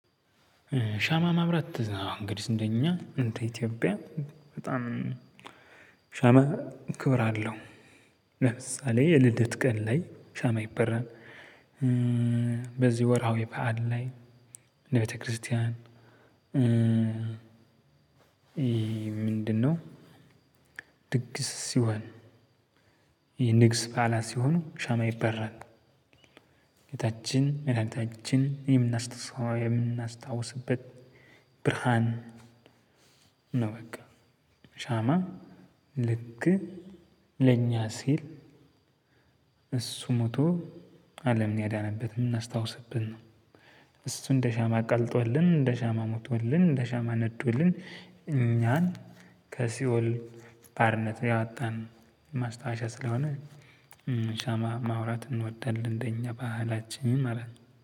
ሻማ ማብራት እንግዲህ እንደኛ እንደ ኢትዮጵያ በጣም ሻማ ክብር አለው። ለምሳሌ የልደት ቀን ላይ ሻማ ይበራል። በዚህ ወርሃዊ በዓል ላይ ለቤተክርስቲያን ምንድነው? ድግስ ሲሆን ይሄ ንግስ በዓላት ሲሆን ሻማ ይበራል። ጌታችን መድሃኒታችንን የምናስታውስበት ብርሃን ነው። በቃ ሻማ ልክ ለኛ ሲል እሱ ሞቶ አለምን ያዳነበት የምናስታውስብን ነው። እሱን እንደ ሻማ ቀልጦልን እንደ ሻማ ሞቶልን እንደ ሻማ ነዶልን እኛን ከሲኦል ባርነት ያወጣን ማስታወሻ ስልሆነ ሻማ ማብራት እንወዳለን። እንደኛ ባህላችን ማለት